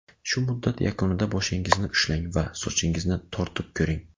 Shu muddat yakunida boshingizni ushlang va sochingizni tortib ko‘ring.